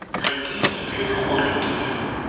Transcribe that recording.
ga ke itse gore ke